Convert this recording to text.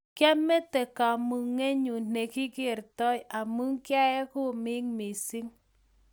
kamete kamugenyu ne kikertoi amu kiaee komek mising